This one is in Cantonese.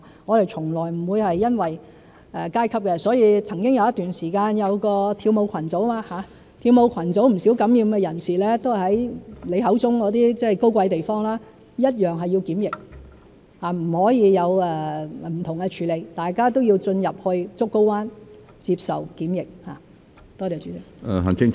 我們從來不會考慮階級，曾經有一段時間有一個跳舞群組，跳舞群組有不少受感染人士都是來自你口中的高貴地方，一樣須要檢疫，不可以有不同的處理，大家都要進入竹篙灣接受檢疫。